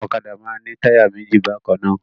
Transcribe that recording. Ọ̀kadà máa ń ní táyà méjì bákan náà.